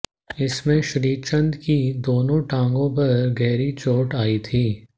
इसमें श्रीचंद की दोनों टांगों पर गहरी चोट आई थी